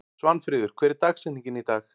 Svanfríður, hver er dagsetningin í dag?